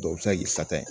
Dɔw bɛ se ka k'i sata ye